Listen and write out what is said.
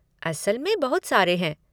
असल में बहुत सारे हैं।